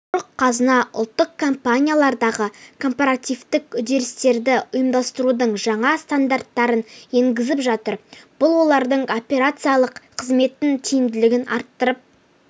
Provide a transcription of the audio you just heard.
самұрық-қазына ұлттық компаниялардағы корпоративтік үдерістерді ұйымдастырудың жаңа стандарттарын енгізіп жатыр бұл олардың операциялық қызметінің тиімділігін арттырып